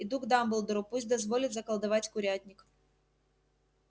иду к дамблдору пусть дозволит заколдовать курятник